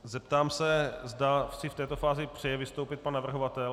Zeptám si, zda si v této fázi přeje vystoupit pan navrhovatel.